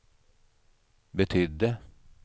betydde